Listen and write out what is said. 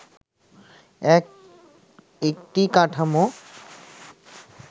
এক একটি কাঠামো